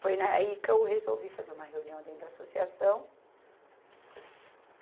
Foi na aí que eu resolvi fazer uma reunião dentro da associação.